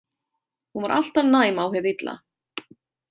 Hún var alltaf næm á hið illa.